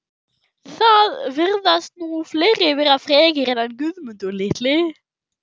Það virðast nú fleiri vera frekir en hann Guðmundur litli